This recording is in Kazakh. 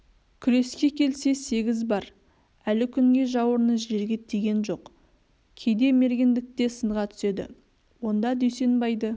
күреске келсе сегіз бар әлі күнге жауырыны жерге тиген жоқ кейде мергендікте сынға түседі онда дүйсенбайды